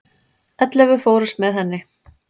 Ellefu fórust með henni.